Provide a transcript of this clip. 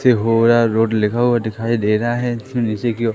Sindhora road लिखा हुआ दिखाई दे रहा है जिसमें नीचे की ओर--